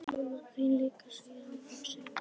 Mamma þín líka, segir hann hugsi.